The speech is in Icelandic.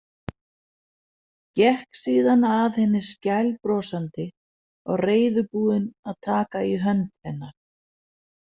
Gekk síðan að henni skælbrosandi og reiðubúin að taka í hönd hennar.